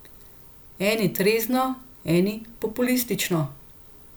Eni trezno, eni populistično.